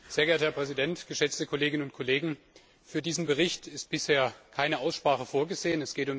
Sehr geehrter Herr Präsident, geschätzte Kolleginnen und Kollegen, für diesen Bericht ist bisher keine Aussprache vorgesehen.